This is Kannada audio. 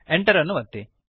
Enter ಅನ್ನು ಒತ್ತಿರಿ